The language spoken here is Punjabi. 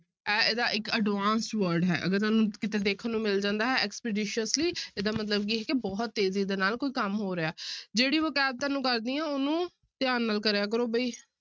ਇਹ ਇਹਦਾ ਇੱਕ advanced word ਹੈ ਅਗਰ ਤੁਹਨੂੰ ਕਿਤੇ ਦੇਖਣ ਨੂੰ ਮਿਲ ਜਾਂਦਾ ਹੈ expeditiously ਇਹਦਾ ਮਤਲਬ ਕੀ ਹੈ ਕਿ ਬਹੁਤ ਤੇਜ਼ੀ ਦੇ ਨਾਲ ਕੋਈ ਕੰਮ ਹੋ ਰਿਹਾ ਜਿਹੜੀ vocabulary ਤੁਹਾਨੂੰ ਦੱਸਦੀ ਹਾਂ ਉਹਨੂੰ ਧਿਆਨ ਨਾਲ ਕਰਿਆ ਕਰੋ ਬਈ।